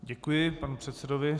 Děkuji panu předsedovi.